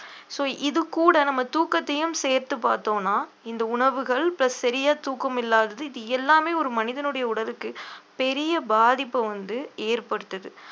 so இது கூட நம்ம தூக்கத்தையும் சேர்த்து பார்த்தோம்னா இந்த உணவுகள் plus சரியா தூக்கம் இல்லாதது இது எல்லாமே ஒரு மனிதனுடைய உடலுக்கு பெரிய பாதிப்பு வந்து ஏற்படுத்துது